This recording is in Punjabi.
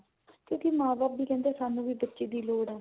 ਤੇ ਮਾਂ ਬਾਪ ਵੀ ਕਹਿੰਦੇ ਸਾਨੂੰ ਬੱਚੇ ਦੀ ਲੋੜ ਹੈ